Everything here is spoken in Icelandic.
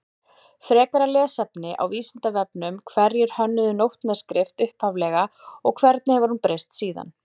Frekara lesefni á Vísindavefnum Hverjir hönnuðu nótnaskrift upphaflega og hvernig hefur hún breyst síðan?